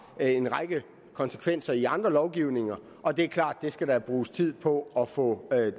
en række konsekvenser i andre lovgivninger og det er klart at det skal der bruges tid på at få